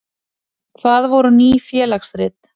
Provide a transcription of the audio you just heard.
Hvað voru Ný félagsrit?